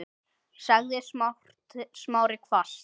sagði Smári hvasst.